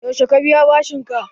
Yaushe ka biya bashin ka?